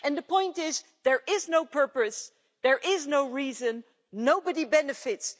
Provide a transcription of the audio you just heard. And the point is there is no purpose, there is no reason, nobody benefits.